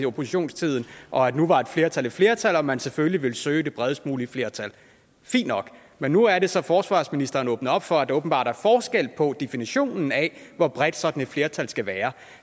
oppositionstiden og at nu var et flertal et flertal og at man selvfølgelig ville søge det bredest mulige flertal fint nok men nu er det så at forsvarsministeren åbner op for at der åbenbart er forskel på definitionen af hvor bredt sådan et flertal skal være